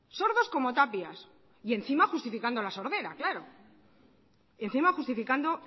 sordos como tapias y encima justificando la sordera claro y encima justificando